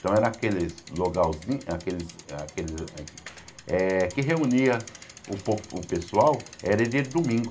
Então era aqueles logalzin, aqueles aqueles eh... Que reunia o po o pessoal era dia de domingo.